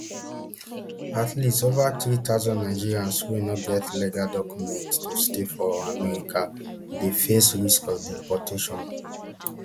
at least ova three thousand nigerians wey no get legal documents to stay for america dey face risk of deportation